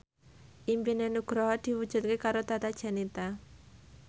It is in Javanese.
impine Nugroho diwujudke karo Tata Janeta